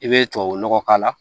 I bɛ tubabunɔgɔ k'a la